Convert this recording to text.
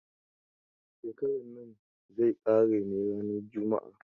Shekaran nan zai ƙare ne ranar juma'a.